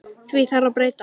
Því þarf að breyta!